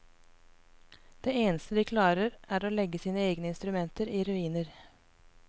Det eneste de klarer er å legge sine egne instrumenter i ruiner.